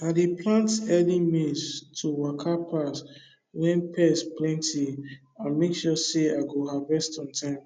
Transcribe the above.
i dey plant early maize to waka pass when pest plenty and make sure say i go harvest on time